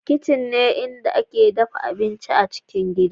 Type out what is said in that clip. Kitchen ne inda ake dafa abinci a cikin gidan